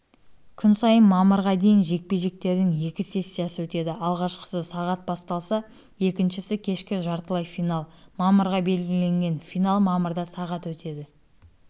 күн сайын мамырға дейін жекпе-жектердің екі сессиясы өтеді алғашқысы сағат басталса екіншісі кешкі жартылай финал мамырға белгіленген финал мамырда сағат өтеді